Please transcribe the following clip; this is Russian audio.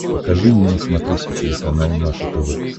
покажи мне на смотрешке телеканал наше тв